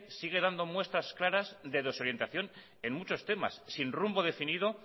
sigue dando muestras claras de desorientación en muchos temas sin rumbo definido